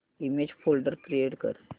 image folder create कर